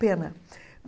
Pena.